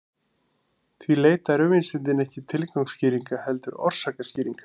Því leita raunvísindin ekki tilgangsskýringa heldur orsakaskýringa.